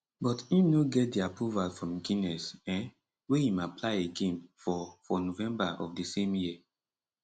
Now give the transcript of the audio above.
but im no get di approval from guinness um wey im apply again for for november of di same year